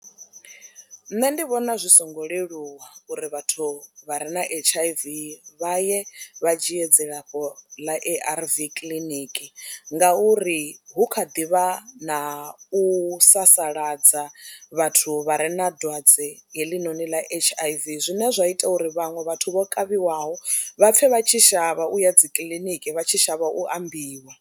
Nṋe ndi vhona zwi songo leluwa uri vhathu vha re na H_I_V vha ye vha dzhie dzilafho ḽa A_R_V kiḽiniki ngauri hu kha ḓi vha na u sasaladza vhathu vha re na dwadze heḽinoni ḽa H_I_V, zwine zwa ita uri vhaṅwe vhathu vho kavhiwaho vha pfhe vha tshi shavha u ya dzi kiḽiniki vha tshi shavha u ambiwa.